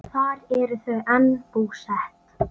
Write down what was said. Þar eru þau enn búsett.